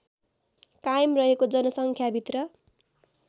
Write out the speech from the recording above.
कायम रहेको जनसङ्ख्याभित्र